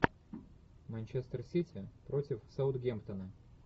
манчестер сити против саутгемптона